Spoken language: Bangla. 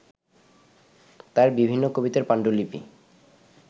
তাঁর বিভিন্ন কবিতার পাণ্ডুলিপি